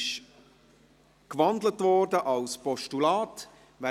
Sie wurde in ein Postulat umgewandelt.